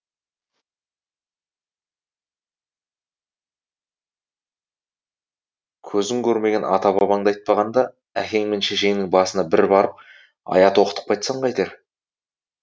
көзің көрмеген ата бабаңды айтпағанда әкең мен шешеңнің басына бір барып аят оқытып қайтсаң қайтер